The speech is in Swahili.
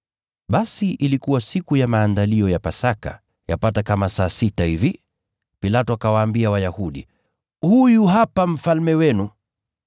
Basi ilikuwa siku ya Maandalio ya Pasaka, yapata kama saa sita hivi. Pilato akawaambia Wayahudi, “Huyu hapa mfalme wenu!”